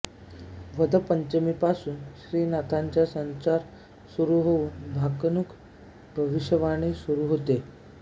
वद्य पंचमीपासून श्रीनाथांचा संचार सुरू होऊन भाकणूक भविष्यवाणी सुरू होते